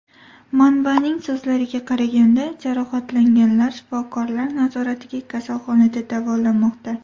Manbaning so‘zlariga qaraganda, jarohatlanganlar shifokorlar nazoratida kasalxonada davolanmoqda.